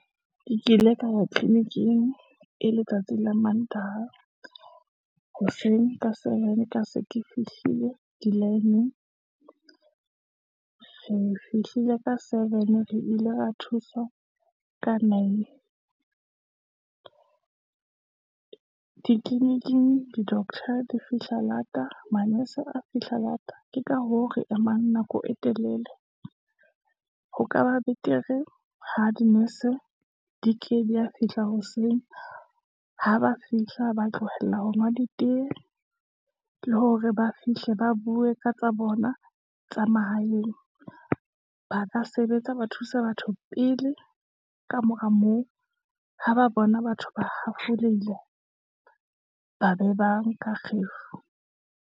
Ke ile ka wa tleleniking, e letsatsi la mantaha hoseng ka seven, ka se ke fihlile di-line-ng, re fihlile ka seven, re ile ra thuswa ka nine, ditleleniking, di-doctor di fihla lata, manese a fihla lata, ke ka hoo re emang nako e telele, ho kaba betere ha dinese, di ke di a fihla hoseng. Ha ba fihla ba tlohela ho nwa ditee, le hore ba fihle ba bue ka tsa bona tsa mahaeng. Ba ka sebetsa, ba thuse batho pele, kamora moo, ha ba bona batho ba hafoleile, ba be ba nka kgefu.